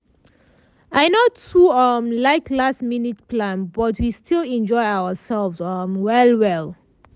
i no too um like last-minute plan but we still enjoy ourselves um well well.